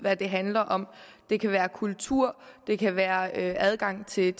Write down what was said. hvad det handler om det kan være kultur det kan være adgang til